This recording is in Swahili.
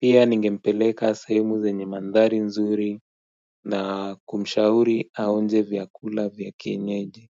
pia ningempeleka sehumu zenye mandhari nzuri na kumshauri aonje vyakula vya kinyeji.